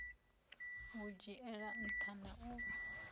u dzhiela nṱha na u